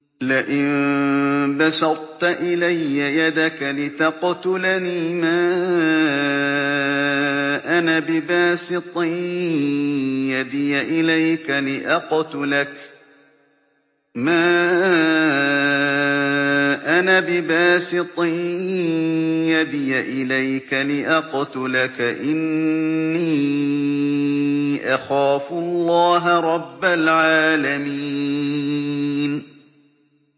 لَئِن بَسَطتَ إِلَيَّ يَدَكَ لِتَقْتُلَنِي مَا أَنَا بِبَاسِطٍ يَدِيَ إِلَيْكَ لِأَقْتُلَكَ ۖ إِنِّي أَخَافُ اللَّهَ رَبَّ الْعَالَمِينَ